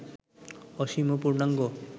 অসীম ও পূর্ণাঙ্গ